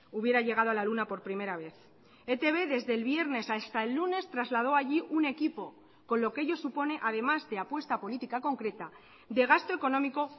hubiera llegado a la luna por primera vez etb desde el viernes hasta el lunes trasladó allí un equipo con lo que ello supone además de apuesta política concreta de gasto económico